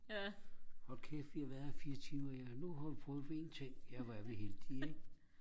hold kæft vi har været her i fire timer ja nu har vi prøvet en ting ja hvor er vi heldige ikke